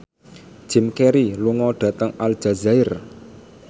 Jim Carey lunga dhateng Aljazair